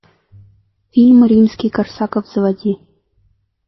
фильм римский корсаков заводи